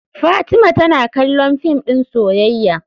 Fatima tana kallon fim din soyayya.